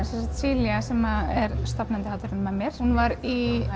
Celia sem er stofnandi hátíðarinna með mér hún var í